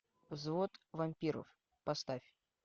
взвод вампиров поставь